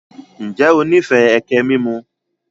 Ǹjẹ́ o níìfẹ́ ẹkẹ mímù?